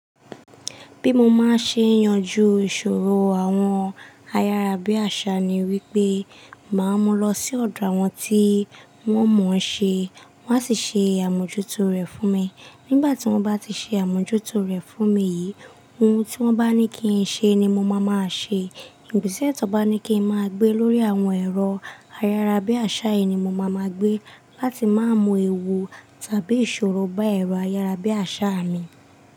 Bí mo máa ṣe yanjú ìṣòro àwọn ayárabíàṣá ni wípé, máa mú lọ sí ọ̀dọ̀ àwọn tí wọ́n mọ̀ ọ́n ṣe, wọ́n á sì ṣe àmójútó rẹ̀ fún mi. Nígbà tí wọ́n bá ti ṣe àmójútó rẹ̀ fún mi yìí, ohun tí wọ́n bá ní kí n ṣe ni mo máa máa ṣe. Ìgbèsè tí wọ́n bá ní kí n máa gbé lórí àwọn ẹ̀rọ ayárabíàṣá yìí ni mo máa ma gbé. Láti má mọ èèwọ̀ tàbí ìṣòro bá ẹ̀rọ ayárabíàṣá mi.